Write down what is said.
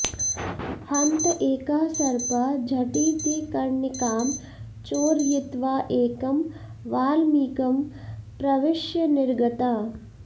हन्त एकः सर्पः झटिति कर्णिकां चोरयित्वा एकं वल्मीकं प्रविष्य निर्गतः